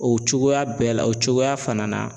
O cogoya bɛɛ la o cogoya fana na